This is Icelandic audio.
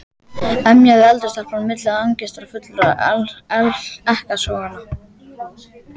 emjaði eldri stelpan á milli angistarfullra ekkasoganna.